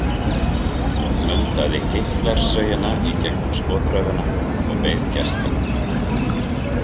Hún mundaði Hitlerssögina í gegnum skotraufina og beið gesta.